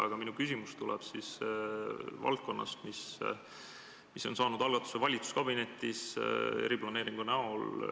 Aga minu küsimus tuleb algatuse kohta, mida on valitsuskabinetis kui eriplaneeringut arutatud.